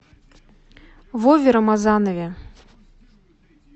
вове рамазанове